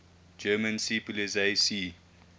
german seepolizei sea